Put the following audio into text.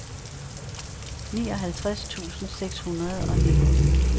nioghalvtreds tusind seks hundrede og nitten